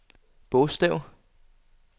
bogstav